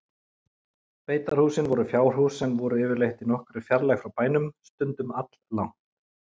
Beitarhúsin voru fjárhús sem voru yfirleitt í nokkurri fjarlægð frá bænum, stundum alllangt.